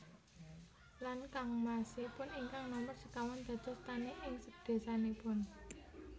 Lan kangmasipun ingkang nomer sekawan dados tani ing desanipun